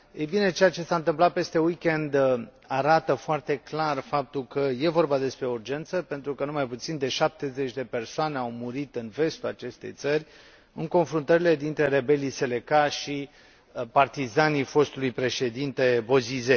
Ei bine, ceea ce s a întâmplat peste weekend arată foarte clar faptul că este vorba de o urgență, pentru că nu mai puțin de 70 de persoane au murit în vestul acestei țări, în confruntările dintre rebelii Seleka și partizanii fostului Președinte Bozizé.